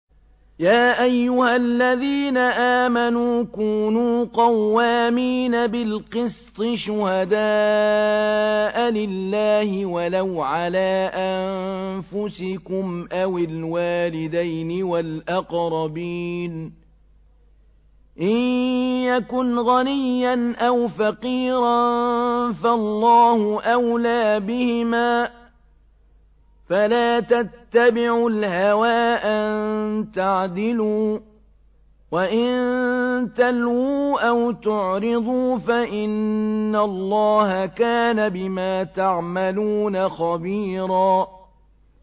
۞ يَا أَيُّهَا الَّذِينَ آمَنُوا كُونُوا قَوَّامِينَ بِالْقِسْطِ شُهَدَاءَ لِلَّهِ وَلَوْ عَلَىٰ أَنفُسِكُمْ أَوِ الْوَالِدَيْنِ وَالْأَقْرَبِينَ ۚ إِن يَكُنْ غَنِيًّا أَوْ فَقِيرًا فَاللَّهُ أَوْلَىٰ بِهِمَا ۖ فَلَا تَتَّبِعُوا الْهَوَىٰ أَن تَعْدِلُوا ۚ وَإِن تَلْوُوا أَوْ تُعْرِضُوا فَإِنَّ اللَّهَ كَانَ بِمَا تَعْمَلُونَ خَبِيرًا